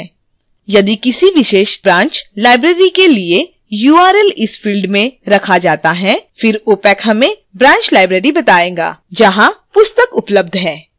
यदि किसी विशेष branch library के लिए url इस field में रखा जाता है फिर opac हमें branch library बताएगा जहां पुस्तक उपलब्ध है